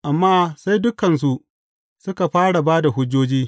Amma sai dukansu suka fara ba da hujjoji.